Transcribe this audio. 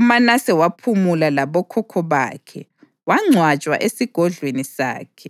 UManase waphumula labokhokho bakhe wangcwatshwa esigodlweni sakhe.